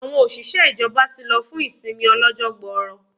Àwọn òṣìṣẹ́ ìjọba ti lọ fún ìsinmi ọlọ́jọ́ gbooro